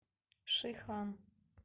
шихан